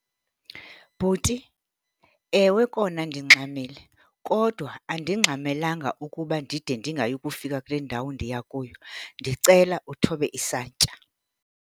Bhuti ewe kona ndingxamile kodwa andingxamelanga ukuba ndide ndingayi kufika kule ndawo ndiya kuyo. Ndicela uthobe isantya.